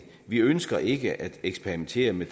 vi ønsker ikke at eksperimentere med